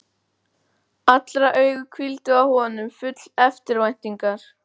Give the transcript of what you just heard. Allra augu hvíldu á honum, full eftirvæntingar.